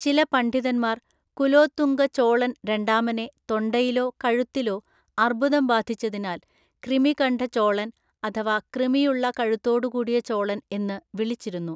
ചില പണ്ഡിതന്മാർ കുലോത്തുംഗ ചോളൻ രണ്ടാമനെ തൊണ്ടയിലോ കഴുത്തിലോ അർബുദം ബാധിച്ചതിനാൽ ക്രിമികണ്ഠ ചോളൻ അഥവാ കൃമിയുള്ള കഴുത്തോടുകൂടിയ ചോളൻ എന്ന് വിളിച്ചിരുന്നു.